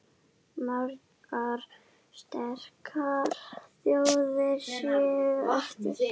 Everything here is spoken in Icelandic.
Margar sterkar þjóðir séu eftir.